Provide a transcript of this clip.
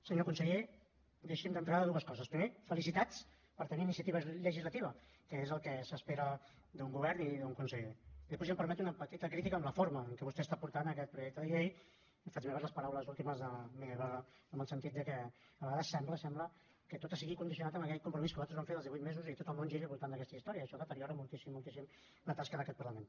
senyor conseller deixi’m dir d’entrada dues coses primer felicitats per tenir iniciativa legislativa que és el que s’espera d’un govern i d’un conseller després ja em permeto una petita crítica a la forma amb què vostè porta aquest projecte de llei i faig meves les paraules últimes de rosa maria ibarra en el sentit de que a vegades sembla sembla que tot estigui condicionat a aquell compromís que vostès van fer dels divuit mesos i tot el món giri al voltant d’aquesta història i això deteriora moltíssim moltíssim la tasca d’aquest parlament